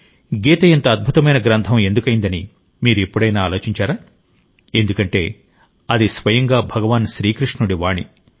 గీత ఇంత అద్భుతమైన గ్రంథం ఎందుకైందని మీరు ఎప్పుడైనా ఆలోచించారా ఎందుకంటే అది స్వయంగా భగవాన్ శ్రీకృష్ణుడి వాణి